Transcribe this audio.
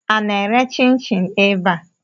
A na-ere chin-chin ebe a?